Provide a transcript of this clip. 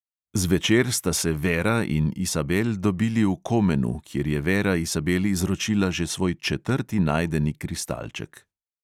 Zvečer sta se vera in isabel dobili v komenu, kjer je vera isabel izročila že svoj četrti najdeni kristalček.